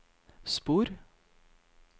spor